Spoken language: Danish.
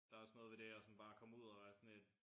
Der også noget ved det at sådan bare komme ud og være sådan lidt